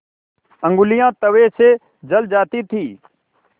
ऊँगलियाँ तवे से जल जाती थीं